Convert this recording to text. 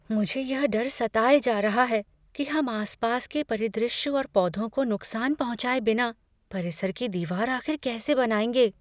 मुझे यह डर सताए जा रहा है कि हम आसपास के परिदृश्य और पौधों को नुकसान पहुंचाए बिना परिसर की दीवार आख़िर कैसे बनाएंगे।